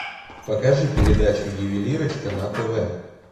покажи передачу ювелирочка на тв